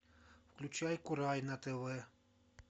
включай курай на тв